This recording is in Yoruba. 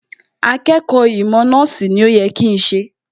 Akẹ́kọ̀ọ́ ìmọ̀ nọ́ọ̀sì ni ó yẹ kí n jẹ́